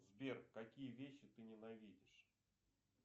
сбер какие вещи ты ненавидишь